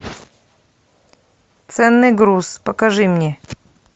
ценный груз покажи мне